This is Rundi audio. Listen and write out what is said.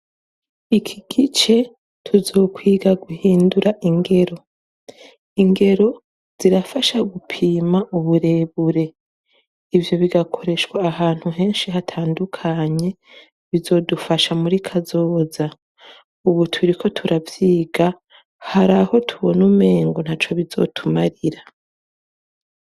iki gice tuzokwiga guhindura ingero ingero zirafasha gupima uburebure ibyo bigakoreshwa ahantu henshi hatandukanye bizodufasha muri kazoza ubu turi ko turabyiga haraho tubona umengo ntaco bizotumarira